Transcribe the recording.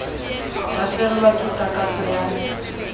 ba fellwa ke takatso ya